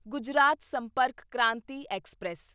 Gujarat Sampark Kranti express